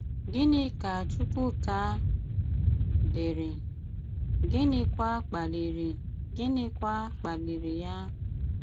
Gìnị ka Chùkwùká dìrì, gínịkwà kpalìrì gínịkwà kpalìrì ya?